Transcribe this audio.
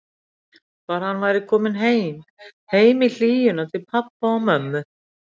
Bara að hann væri kominn heim, heim í hlýjuna til pabba og mömmu.